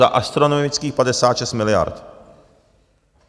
Za astronomických 56 miliard.